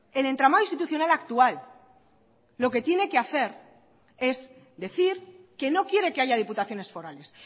el entramado institucional actual lo que tiene que hacer es decir que no quiere que haya diputaciones forales